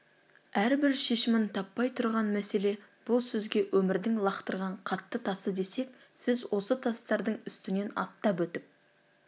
әрбір шешімін таппай тұрған мәселе бұл сізге өмірдің лақтырған қатты тасы десек сіз осы тастардың үстінен аттап өтіп